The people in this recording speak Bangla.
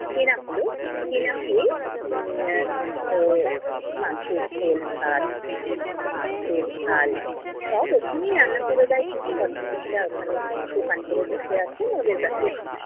কেনা হলো, কেনা হয়ে উম এর মাংসের ঝোল ভাত, মাছের ঝাল সব ওখানেই রান্না করে দেয় কিছু ভদ্র মহিলা ওখানে দোকান কোরে বসে আছেন, ওদের কাছে